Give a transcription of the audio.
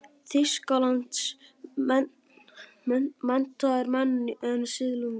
Þýskalands, menntaðir menn en siðlausir.